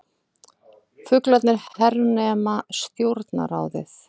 Fuglarnir hernema Stjórnarráðið